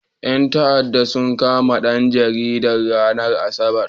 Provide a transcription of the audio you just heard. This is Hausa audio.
Ƴan ta'addan sun kama ɗan jaridan, ranar asabar.